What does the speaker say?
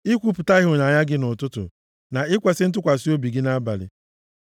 ikwupụta ịhụnanya gị nʼụtụtụ, na ikwesi ntụkwasị obi gị nʼabalị,